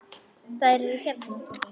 Þær eru hérna, pabbi.